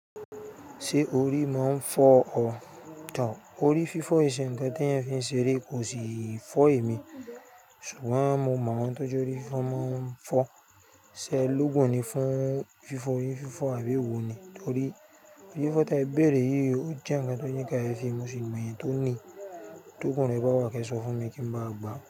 Ṣé orí máa ń fọ ọ? Tọ̀, orí fífọ̀ ìṣẹ̀ǹtẹ̀ tí ẹ̀yin fi ń ṣeré kò sì fọ èmi. Ṣùgbọ́n mo mọ̀ ohun tó jẹ́ orí fífọ máa ń fọ, ṣé lógun ni fún fífọ̀ yìí, fífọ̀ àbí wo ni? Nítorí orí fífọ̀ tí a béèrè yìí ò jẹ́ ǹkan tó yíka ẹfi, mo sì mọ ẹ̀yin tó ní. Tó kùn ní ẹ bá wa kẹ́ṣọ̀ fún mi kí n máa gbà.